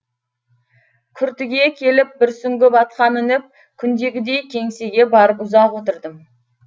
күртіге келіп бір сүңгіп атқа мініп күндегідей кеңсеге барып ұзақ отырдым